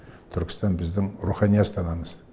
түркістан біздің рухани астанамыз